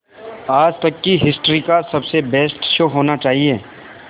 आज तक की हिस्ट्री का सबसे बेस्ट शो होना चाहिए